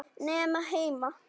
Nema heima.